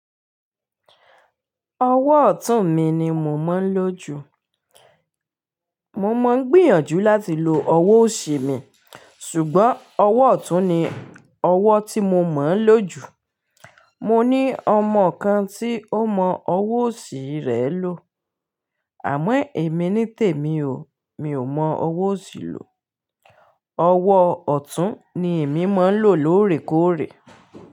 Ọwọ́ ọ̀tún mi ni mo mọ́n lo jù. Mó mó ń gbìyànjú láti lo ọwọ́ ọ̀sì mi, ṣùgbọ́n ọwọ́ ọ̀tún ni ọwọ́ tí mo mọ́n lo jù. Mó ní ọmọ kan tí ó mọ ọwọ́ ọ̀sì rẹ̀ lò. Àmọ́ èmi ní tèmi o, mi ò mọ ọwọ́ ọ̀sì lò. Ọwọ́ ọ̀tún ni èmi mọ ń lò lóòrèkóòrè.